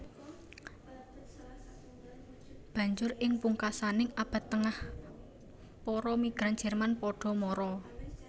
Banjur ing pungkasaning Abad Tengah para migran Jerman padha mara